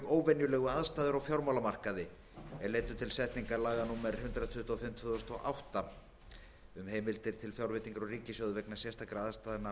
óvenjulegu aðstæður á fjármálamarkaði er leiddu til setningar laga númer hundrað tuttugu og fimm tvö þúsund og átta um heimild til fjárveitingar úr ríkissjóði vegna sérstakra aðstæðna á